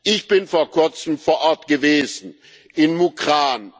Ich bin vor kurzem vor Ort gewesen in Mukran.